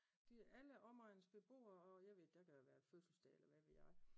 De alle omegnens beboer og jeg ved der kan have været fødselsdag eller hvad ved jeg